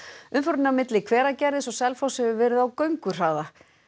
umferðin á milli Hveragerðis og Selfoss hefur verið á gönguhraða